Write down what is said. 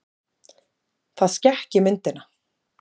Það skekki myndina.